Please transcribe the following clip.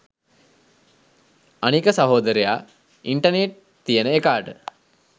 අනික සහෝදරයා ඉන්ටර්නෙට් තියෙන එකාට